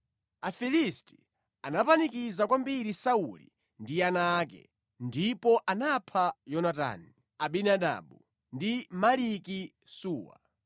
Afilisti anapanikiza kwambiri Sauli ndi ana ake, ndipo anapha Yonatani, Abinadabu ndi Maliki-Suwa.